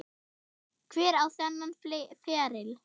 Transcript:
Hver á þennan feril?